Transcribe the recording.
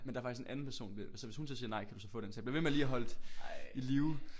Men der er faktisk en anden person så hvis hun så siger nej så kan du få den så jeg blev ved med lige at holdt i live